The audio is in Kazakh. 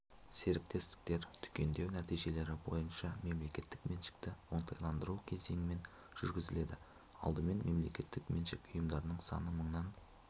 серіктестіктер түгендеу нәтижелері бойынша мемлекеттік меншікті оңтайландыру кезеңмен жүргізіледі алдымен мемлекеттік меншік ұйымдарының саны мыңнан